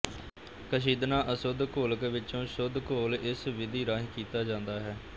ਕਸ਼ੀਦਣਾ ਅਸ਼ੁੱਧ ਘੋਲਕ ਵਿੱਚੋ ਸ਼ੁੱਧ ਘੋਲ ਇਸ ਵਿਧੀ ਰਾਹੀ ਕੀਤਾ ਜਾਂਦਾ ਹੈ